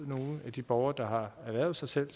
nogle af de borgere der har ernæret sig som